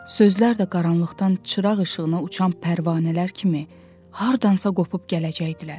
sözlər də qaranlıqdan çıraq işığına uçan pərvanələr kimi hardansa qopub gələcəkdilər.